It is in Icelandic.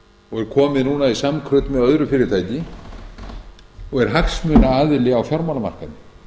og er komið núna í samkrull með öðru fyrirtæki og er hagsmunaaðili á fjármálamarkaði